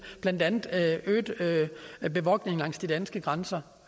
blandt andet øget bevogtning langs de danske grænser